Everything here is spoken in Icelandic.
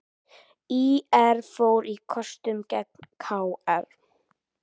ÍR fór á kostum gegn KR